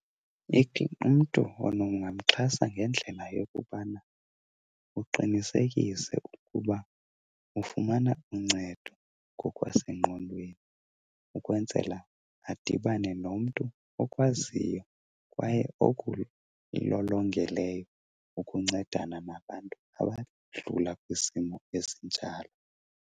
Umntu ungamxhasa ngendlela yokubana uqinisekise ukuba ufumana uncedo ngokwasengqondweni ukwenzela adibane nomntu okwaziyo kwaye okulolongeleyo ukuncedana nabantu abadlula kwisimo esinjalo.